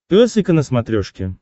пес и ко на смотрешке